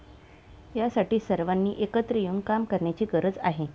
यासाठी सर्वांनी एकत्र येऊन काम करण्याची गरज आहे.